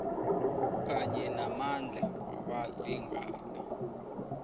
kanye namandla wabalingani